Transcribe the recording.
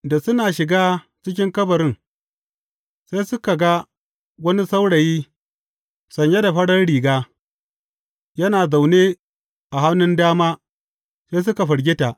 Da suna shiga cikin kabarin, sai suka ga wani saurayi sanye da farar riga, yana zaune a hannun dama, sai suka firgita.